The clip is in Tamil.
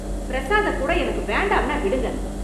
பிரசாத கூட எனக்கு வேண்டாம்னா விடுங்க.